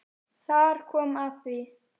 Þar kom að því.